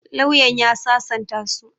Lauyan ya sasanta su.